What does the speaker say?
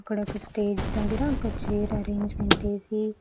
అక్కడ ఒక స్టేజ్ దెగ్గర ఒక చైర్ అరేంజ్మెంట్ ఎసి.